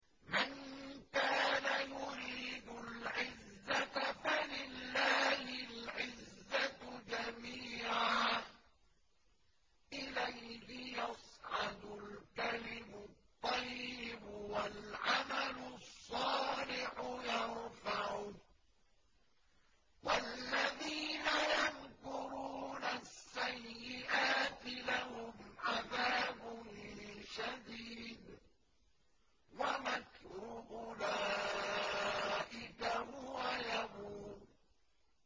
مَن كَانَ يُرِيدُ الْعِزَّةَ فَلِلَّهِ الْعِزَّةُ جَمِيعًا ۚ إِلَيْهِ يَصْعَدُ الْكَلِمُ الطَّيِّبُ وَالْعَمَلُ الصَّالِحُ يَرْفَعُهُ ۚ وَالَّذِينَ يَمْكُرُونَ السَّيِّئَاتِ لَهُمْ عَذَابٌ شَدِيدٌ ۖ وَمَكْرُ أُولَٰئِكَ هُوَ يَبُورُ